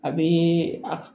A bɛ a